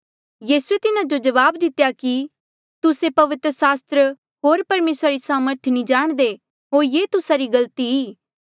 यीसूए तिन्हा जो जवाब दितेया कि तुस्से पवित्र सास्त्र होर परमेसरा री सामर्थ नी जाणदे होर ये ही तुस्सा री गलती ई